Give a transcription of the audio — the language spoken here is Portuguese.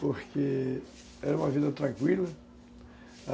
Porque era uma vida tranquila.